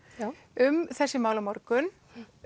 um þessi mál á morgun